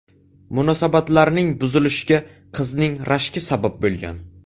Munosabatlarning buzilishiga qizning rashki sabab bo‘lgan.